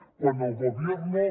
quan el gobierno